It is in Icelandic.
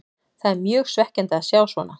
Það er mjög svekkjandi að sjá svona.